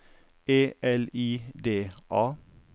E L I D A